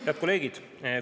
Head kolleegid!